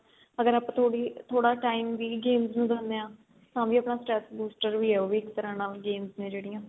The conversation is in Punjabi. ਅਗਰ ਆਪਾਂ ਥੋੜੀ ਥੋੜਾ time ਵੀ games ਨੂੰ ਦਿੰਦੇ ਆ ਤਾਂ ਵੀ ਉਹ ਆਪਣਾ stress booster ਹੀ ਏ ਇੱਕ ਤਰਾਂ ਨਾਲ games ਨੇ ਜਿਹੜੀਆਂ